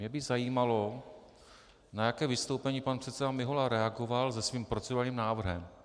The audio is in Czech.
Mě by zajímalo, na jaké vystoupení pan předseda Mihola reagoval se svým procedurálním návrhem.